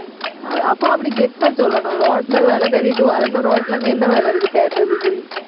அப்~ அப்போ அப்படி கெத்தா சொல்லணும் ரோட்ல வேலை தேடிட்டு வர்றேன்னா ரோட்ல அங்க என்ன வேலை இருக்கு, தேடறதுக்கு